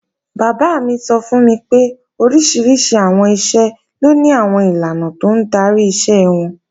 Bàbá mi sọ fún mi pé oríṣiríṣi àwọn iṣẹ́ ló ni àwọn ìlànà tó ń darí iṣẹ́ wọn